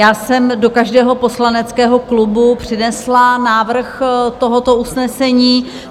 Já jsem do každého poslaneckého klubu přinesla návrh tohoto usnesení.